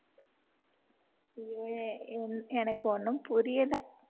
ஐயோ எனக்கு ஒண்ணும் புரியல